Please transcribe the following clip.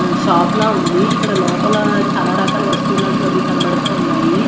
షాపుల ఉంది ఇక్కడ లోపల చాలా రకాల వస్తువులాంటివి అవి కనబడతా ఉన్నాయి.